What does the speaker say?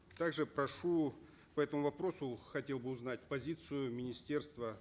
также прошу по этому вопросу хотел бы узнать позицию министерства